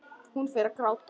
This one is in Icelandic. Hún fer að gráta.